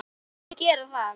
Viltu gera það?